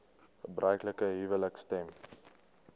gebruiklike huwelike stem